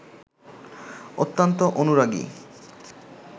অত্যন্ত অনুরাগী